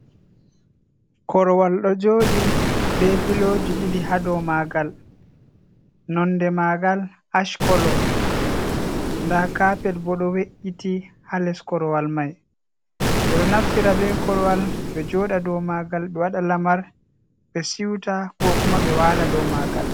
Korowal ɗo joɗi be piloji ɗiɗi ha dow magal. Nonɗe magal ash kolo. Ɗa kapet bo do we’’iti ha les korowal mai. be ɗo naftira be korwal be joɗa ɗow magal be waɗa lamar be siuta. ko kuma be wala dow magal.